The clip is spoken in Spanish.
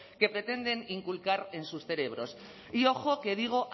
que pretenden inculcar en sus cerebros y ojo que digo